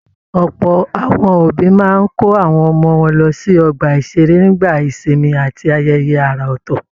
Ọ̀pọ̀ àwọn òbí máa n kó àwọn ọmọ wọn lọ sí ọgbà-ìṣeré nígbà ìsinmi àti ayẹyẹ àrà ọtọ.